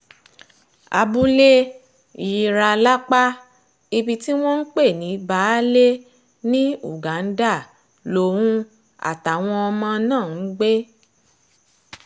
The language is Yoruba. abúlé jiira lápá ibi tí wọ́n ń pè ní bbaálé ní uganda lòun àtàwọn ọmọ náà ń gbé